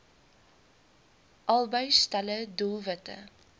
albei stelle doelwitte